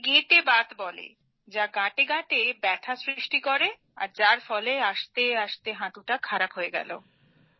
একে গেঁটে বাত বলে যা গাঁটেগাঁটে ব্যথা সৃষ্টি করে যার ফলে আস্তে আস্তে হাঁটু খারাপ হয়ে গেল